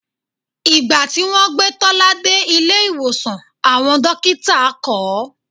Ìgbà tí wọ́n gbé Tọ́lá dé ilé ìwòsàn, àwọn dókítà kọ̀ ọ́